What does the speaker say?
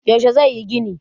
yaushe zai yi ginin?